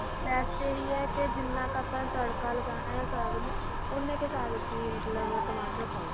best ਇਹ ਹੀ ਕੇ ਜਿਨ੍ਹਾਂ ਕਾ ਆਪਾ ਤੜਕਾ ਲਗਾਨਾ ਸਾਗ ਨੂੰ ਉਹਨੇ ਕੁ ਸਾਗ ਚ ਮਤਲੱਬ ਟਮਾਟਰ ਪਾਓ